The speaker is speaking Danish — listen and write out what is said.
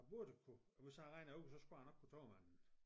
Jeg burde kunne hvis jeg regner ud så skulle jeg nok kunne tabe mig en